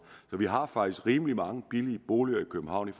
så vi har faktisk rimelig mange billige boliger i københavn i